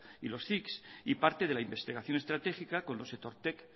y los cics y parte de la investigación estratégica de los etortek